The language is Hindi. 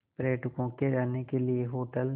पर्यटकों के रहने के लिए होटल